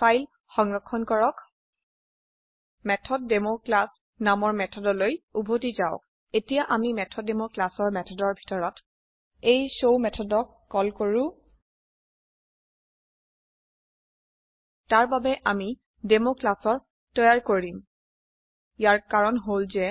file সংৰক্ষণ কৰক MethodDemo class নামৰ মেথড লৈ উভতি যাওক এতিয়া আমি মেথডেমো ক্লাছ ৰ মেথদৰ ভিতৰত এই শৱ মেথদক কল কৰো তাৰ বাবে অমি Demoক্লাছৰ তৈয়াৰ কৰিব ইয়াৰ কাৰন হল যে